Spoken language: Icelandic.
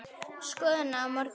Skoðum það á morgun.